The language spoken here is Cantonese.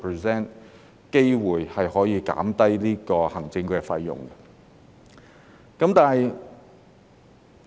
事實上，這樣可以即時令管理費減低。